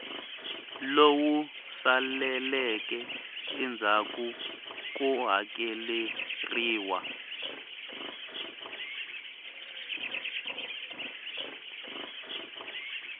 lowu saleleke endzhaku ko hakeleriwa